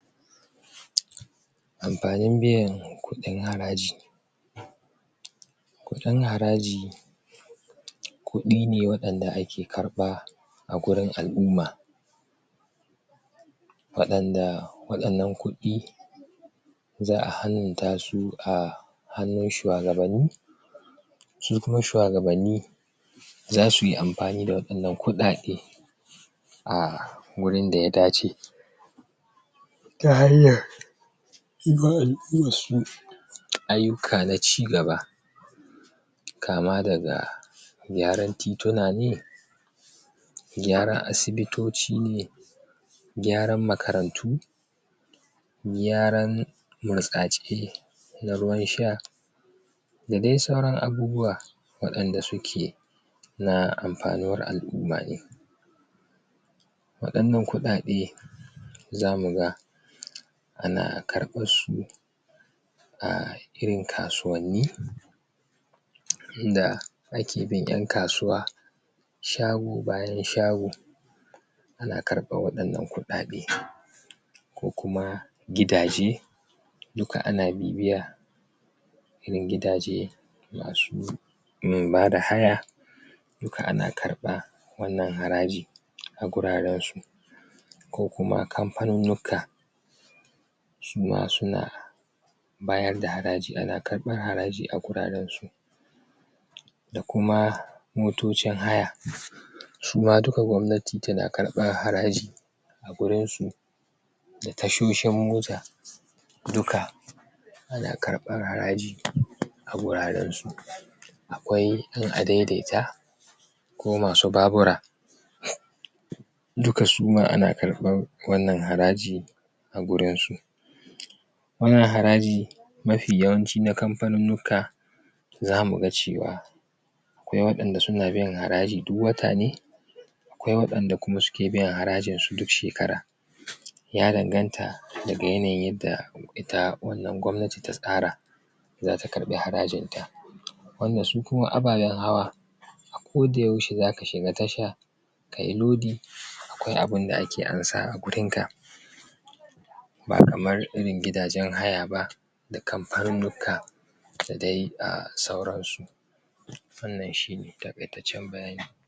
Amfanin biyan kuɗin haraji kuɗin haraji kuɗi ne waɗanda ake karɓa a gurin al-umma waɗanda waɗannan kuɗi za'a halartar dasu um hannun shuwagaban ni su kuma shuwagabanni zasu yi amfani da waɗannan kuɗaɗe a wurin daya dave ta hanyar yima al-ummar su ayyuka na cigaba kama daga gyaran tituna ne gyaran asibitoci ne gyaran makarantu gyaran burtsatse na ruwan sha da dai sauran abubuwa waɗanda suke na amfanin al-umma na waɗannan kuɗaɗe zamu ga ana karɓarsu a irin kasuwanni inda ake bin 'yan kasuwa shago bayan shago ana karɓan waɗannan kuɗaɗe ko kuma gidaje duka ana bibiya irin gidaje masu um bada haya duka ana karɓan wannan haraji a gurarensu ko kuma kamfanonika su ma suna bayar da haraji ana karɓar haraji a gurarensu da kuma motocin haya suma duka gwamnati tana karɓan haraji a gurinsu da tashoshin mota duka ana karɓar haraji a gurarensu akwai 'yan adaidaita ko masu babura duka suma ana karɓan wannan haraji a gurinsu wan nan haraji mafi yawanci na kamfaninnuka zamu ga cewa akwai waɗanda suna biyan haraji duk watane akwai waɗanda suke biyan harajin su duk shekara ya danganta daga yanayin yadda ita wannan gwabnati ta tsara zata karɓi harajinta wanda su kuma ababen hawa a koda yaushe zaka shiga tasha kayi lodi akwai abunda ake amsa a wurin ka ba kamar irin gidajen hay ba da kamfanunnuka da dai sauransu wannan shine takaitaccen bayani